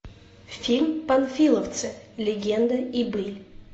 фильм панфиловцы легенда и быль